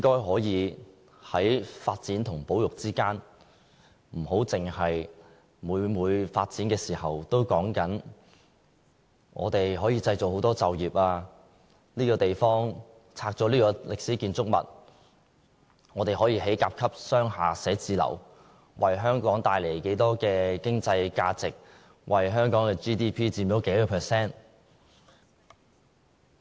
所以，在發展和保育之間，可否不要每每在發展的時候，只說可以製造多少就業、拆掉這座歷史建築物後，可以興建甲級商廈寫字樓，為香港帶來多少經濟價值、佔香港 GDP 多少個百分比。